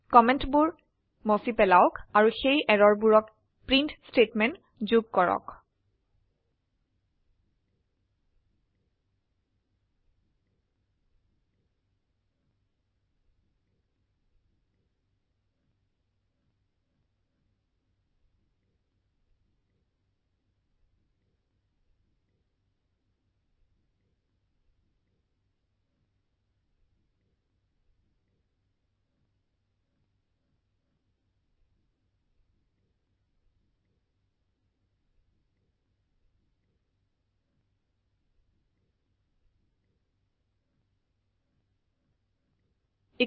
কমেন্টবোৰ মছি পেলাওক আৰু সেই এৰৰবোৰকপ্ৰিন্ট স্টেটমেন্ট যোগ কৰক